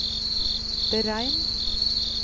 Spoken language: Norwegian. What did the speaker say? beregn